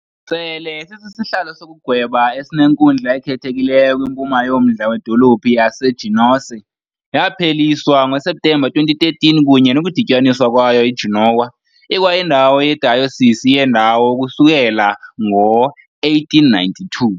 Sele sisihlalo sokugweba esinenkundla ekhethekileyo kwimpuma yommandla wedolophu yaseGenoese, yapheliswa ngoSeptemba 2013 kunye nokudityaniswa kwayo neGenoa, ikwayindawo yedayosisi yendawo ukusukela ngo-1892.